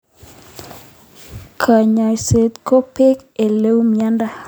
kanyoiset ko bee oleu mnyendo.